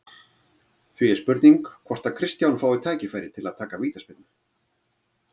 Því er spurning hvort að Kristján fái tækifæri til að taka vítaspyrnu?